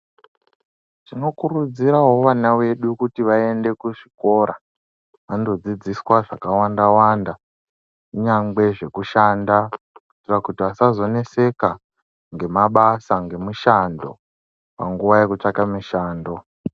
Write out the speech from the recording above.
Tinokurudzirawo vana vedu kuti vaende kuzvikora vandodzidziswa zvakawanda wanda kunyangwe zvekushanda kuti vasazoneseka ngemabasa, ngemishando panguwa yekutsvaka mushando.